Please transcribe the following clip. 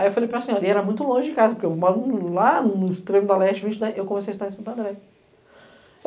Aí eu falei para senhora, e era muito longe de casa, porque o maluco lá, no extremo da leste, eu comecei a estudar em Santo André.